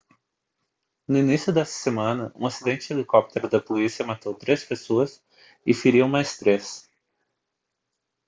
no início desta semana um acidente de helicóptero da polícia matou três pessoas e feriu mais três